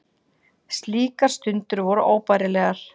Slíkar stundir voru óbærilegar.